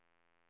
ekonomi